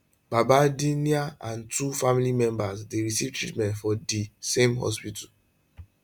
badardin naik and two family members dey receive treatment for di same hospital